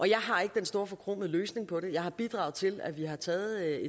jeg har ikke den store forkromede løsning på det jeg har bidraget til at vi har taget